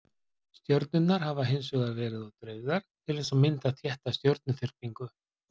Stjörnurnar hafa hins vegar verið of dreifðar til þess að mynda þétta stjörnuþyrpingu.